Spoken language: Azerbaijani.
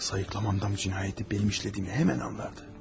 Sayıqlamamdan cinayəti mənim işlədiyimi həmin anlardı.